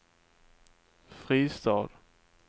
Fristad